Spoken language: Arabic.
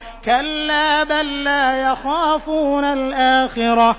كَلَّا ۖ بَل لَّا يَخَافُونَ الْآخِرَةَ